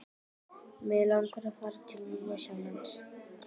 Mig langar að fara til Nýja-Sjálands.